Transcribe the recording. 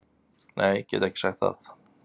Nei, get ekki sagt það